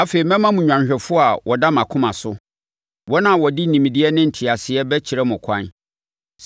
Afei mɛma mo nnwanhwɛfoɔ a wɔda mʼakoma so, wɔn a wɔde nimdeɛ ne nteaseɛ bɛkyerɛ mo ɛkwan.